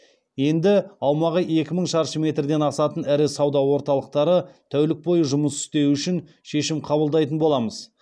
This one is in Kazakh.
енді аумағы екі мың шаршы метрден асатын ірі сауда орталықтары тәулік бойы жұмыс істеуі үшін шешім қабылдайтын боламыз